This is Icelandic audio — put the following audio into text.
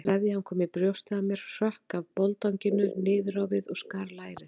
Sveðjan kom í brjóstið á mér, hrökk af boldanginu niður á við og skar lærið.